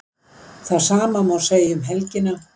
Það sama má segja um helgina